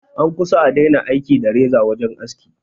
An kusa a daina aiki da reza wajen aski